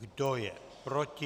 Kdo je proti?